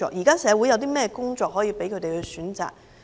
現時社會有甚麼工作，可供他們選擇？